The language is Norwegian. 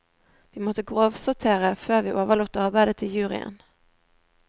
Vi måtte grovsortere før vi overlot arbeidet til juryen.